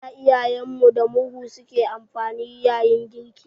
Da Iyayen mu da murhu su ke amfani yayin girki.